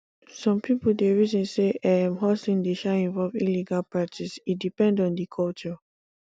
some pipo dey reason sey um hustle dey um involve illegal practice e depend on di culture